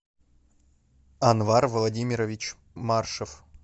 анвар владимирович маршев